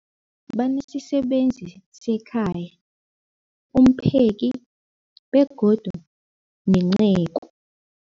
Banesisebenzi sekhaya, umpheki, begodu nenceku.